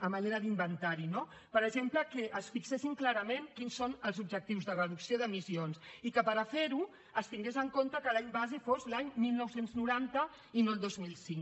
a manera d’inventari no per exemple que es fixessin clarament quins són els objectius de reducció d’emissions i que per fer ho es tingués en compte que l’any base fos l’any dinou noranta i no el dos mil cinc